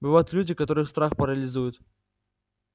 бывают люди которых страх парализует